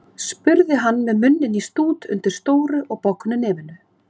Samt vonar hann auðvitað að það eigi ekki eftir að gerast.